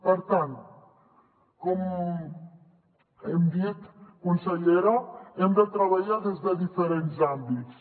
per tant com hem dit consellera hem de treballar des de diferents àmbits